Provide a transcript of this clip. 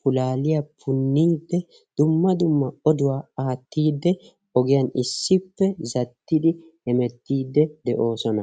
pulaaliya punniidde dumma dumma oduwa aaattiidde ogiyan issippe zattidi hemettiiddi de'oosona.